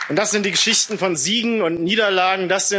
Das sind die Geschichten von Siegen und Niederlagen.